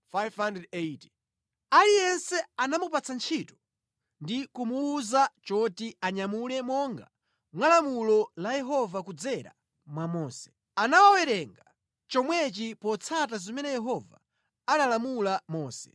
Aliyense anamupatsa ntchito ndi kumuwuza choti anyamule monga mwa lamulo la Yehova kudzera mwa Mose. Anawawerenga chomwechi potsata zimene Yehova analamula Mose.